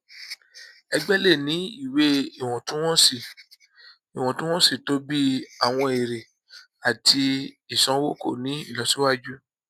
ẹgbẹ lè ní ìwé ìwọntúnwọnsí ìwọntúnwọnsí tó bi àwọn èrè àti ìsanwó kò ní ìlọsíwájú